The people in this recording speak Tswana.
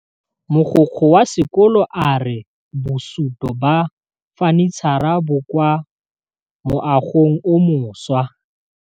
Mogokgo wa sekolo a re bosutô ba fanitšhara bo kwa moagong o mošwa.